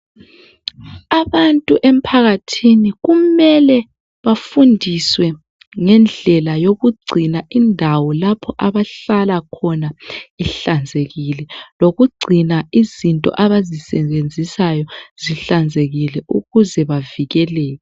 Abantu emphakathini kumele bafundiswe ngendlela yokugcina indawo lapho abahlala khona ihlanzekile lokugcina izinto abazisebenzisayo zihlanzekile ukuze bavikeleke.